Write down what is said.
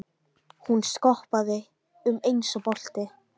Hún skoppaði um eins og bolti.